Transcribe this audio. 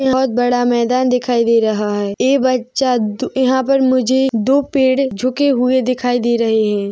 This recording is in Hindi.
बहोत बड़ा मैदान दिखाई दे रहा है ऐ बच्चा दू- यहाँ पर मुझे दो पेड़ झुके हुए दिखाई दे रहे है।